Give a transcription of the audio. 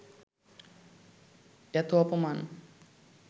এত অপমান